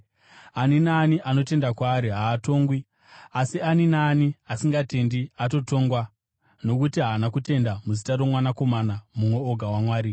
Ani naani anotenda kwaari haatongwi, asi ani naani asingatendi atotongwa nokuti haana kutenda muzita roMwanakomana mumwe oga waMwari.